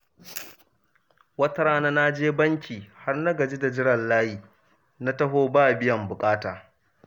Wata rana na je banki, har na gaji da jiran layi, na taho ba biyan buƙata.